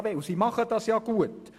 Sie macht es auch gut.